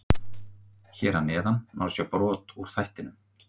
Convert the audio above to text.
Hér að neðan má sjá brot úr þættinum.